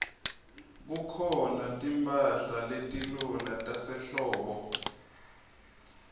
kukhona timphahla letilula tasehlobo